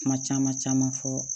Kuma caman caman fɔ